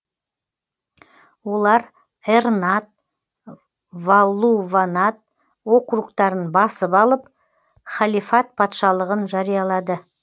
олар эрнад валлуванад округтарын басып алып халифат патшалығын жариялады